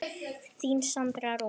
Þín Sandra Rún.